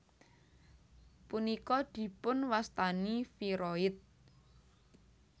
Punika dipunwastani viroid